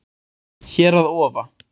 Hér að ofa